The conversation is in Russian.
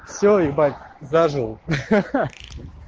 все ебать зажил хи-хи